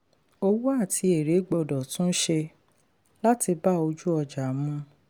owó àti èrè gbọ́dọ̀ túnṣe láti bá ojú-ọjà mu.